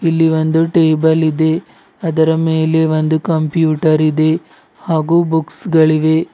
ಇಲ್ಲಿ ಒಂದು ಟೇಬಲ್ ಇದೆ ಅದರ ಮೇಲೆ ಒಂದು ಕಂಪ್ಯೂಟರ್ ಇದೆ ಹಾಗೂ ಬುಕ್ಸ್ ಗಳಿವೆ.